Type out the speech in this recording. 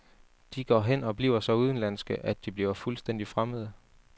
De går hen og bliver så udenlandske, at de bliver fuldstændig fremmede.